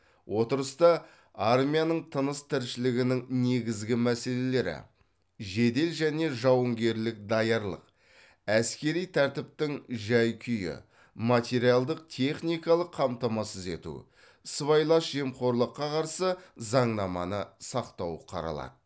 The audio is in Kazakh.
отырыста армияның тыныс тіршілігінің негізгі мәселелері жедел және жауынгерлік даярлық әскери тәртіптің жай күйі материалдық техникалық қамтамасыз ету сыбайлас жемқорлыққа қарсы заңнаманы сақтау қаралады